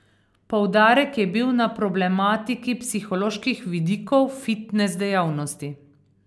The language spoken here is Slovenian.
Poudarek je bil na problematiki psiholoških vidikov fitnes dejavnosti.